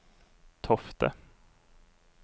Tofte